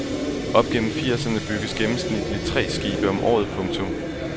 Op gennem firserne bygges gennemsnitligt tre skibe om året. punktum